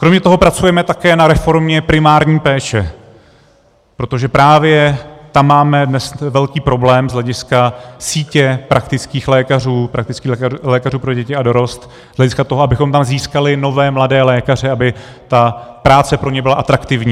Kromě toho pracujeme také na reformě primární péče, protože právě tam máme dnes velký problém z hlediska sítě praktických lékařů, praktických lékařů pro děti a dorost, z hlediska toho, abychom tam získali nové mladé lékaře, aby ta práce pro ně byla atraktivní.